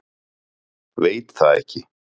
Veit það ekki.